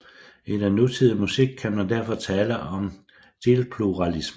I den nutidige musik kan man derfor tale om en stilpluralisme